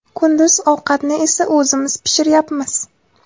Kunduz ovqatni esa o‘zimiz pishiryapmiz.